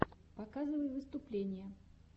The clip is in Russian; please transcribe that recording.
показывай выступления